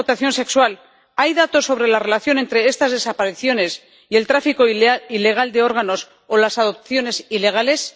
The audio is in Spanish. de la explotación sexual, ¿hay datos sobre la relación entre estas desapariciones y el tráfico ilegal de órganos o las adopciones ilegales?